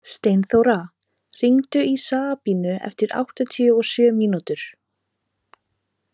Steinþóra, hringdu í Sabrínu eftir áttatíu og sjö mínútur.